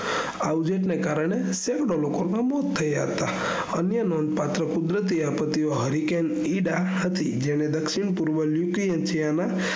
આવજેત ને કારને સેમો લોકો ના મોત થયા હતા અને નોનપાથ કુદરતી આફતો હરિકેન ઈદા હતી જેને દ્ક્ષિણ પૂર્વ નુય્કિઅલ ચેના